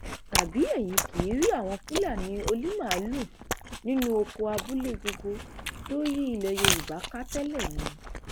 tàbí ẹyin kì í rí àwọn fúlàní onímaalùú nínú ọkọ abúlé gbogbo tó yí ilẹ yorùbá ká tẹlẹ ni